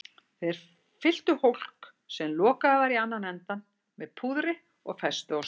Þeir fylltu hólk, sem lokaður var í annan endann, með púðri og festu á stöng.